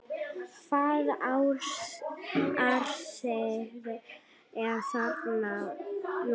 Hvaða árstíð er þarna núna?